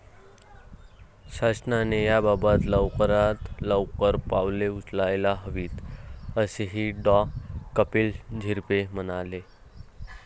शासनाने याबाबत लवकरात लवकर पावले उचलायला हवीत, असेही डॉ. कपिल झिरपे म्हणाले.